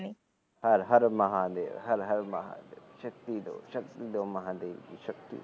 ਹਰ ਹਰ ਮਾਹਾਦੇਵ ਹਰ ਹਰ ਮਹਾਦੇਵ ਸ਼ਕਤੀ ਦੋ ਸ਼ਕਤੀ ਦੋ